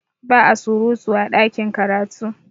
Ba a surutu a ɗakin karatu